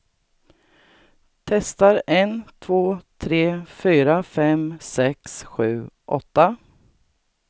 Testar en två tre fyra fem sex sju åtta.